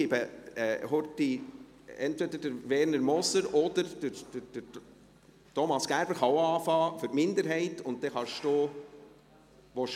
Ich gebe kurz entweder Werner Moser oder Thomas Gerber für die Minderheit das Wort.